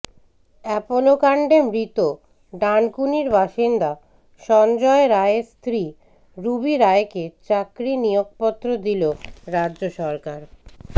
অ্যাপোলোকাণ্ডে মৃত ডানকুনির বাসিন্দা সঞ্জয় রায়ের স্ত্রী রুবি রায়কে চাকরি নিয়োগপত্র দিল রাজ্য সরকার